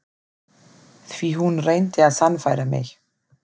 Því hún reyndi að sannfæra mig.